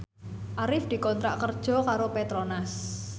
Arif dikontrak kerja karo Petronas